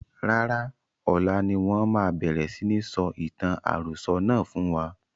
Rárá, ọlá ni wọn máa bẹ̀rẹ̀ si ní sọ ìtàn àròsọ̀ náà fún wa.